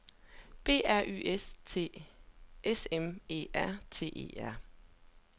B R Y S T S M E R T E R